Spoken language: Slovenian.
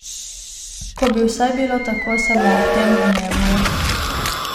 Ko bi vsaj bilo tako samo ob tem dnevu!